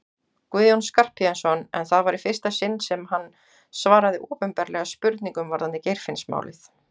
Guðjón Skarphéðinsson en það var í fyrsta sinn sem hann svaraði opinberlega spurningum varðandi Geirfinnsmálið.